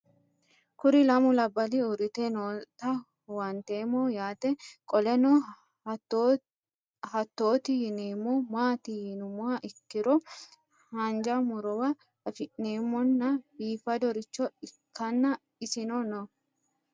Kuri lamu labali uurite noota huwantemo yaate qoleno hatoti yinemo maati yinumoha ikiro hanja murowa afine'mona bifadoricho ikana isino no